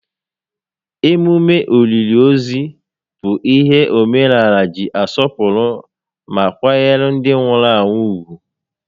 Emume òlìlì ozu bụ ihe omenaala ji asọpụrụ ma kwanyere ndị nwụrụ anwụ ùgwù